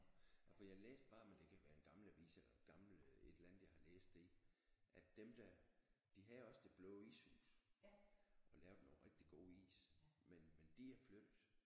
Nå ja for jeg læste bare men det kan være en gammel avis eller gammel et eller andet jeg har læst det i at dem der de havde også Det Blå Ishus og lavede nogle rigtig gode is men men de er flyttet